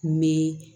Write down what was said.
Ni